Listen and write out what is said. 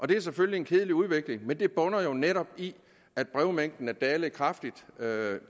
det er selvfølgelig en kedelig udvikling men det bunder jo netop i at brevmængden er dalet kraftigt med